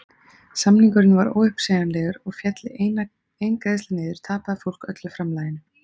Samningurinn var óuppsegjanlegur og félli ein greiðsla niður tapaði fólk öllu framlaginu!